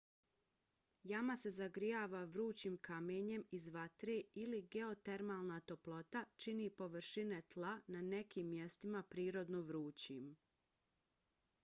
jama se zagrijava vrućim kamenjem iz vatre ili geotermalna toplota čini površine tla na nekim mjestima prirodno vrućim